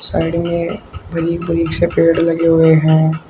Side में पेड़ लगे हुए है।